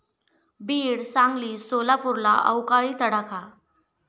बीड, सांगली, सोलापूरला अवकाळी तडाखा